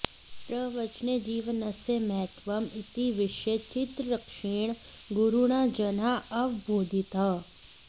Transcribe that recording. प्रवचने जीवनस्य महत्त्वम् इति विषये चित्तरक्षेण गुरुणा जनाः अवबोधिताः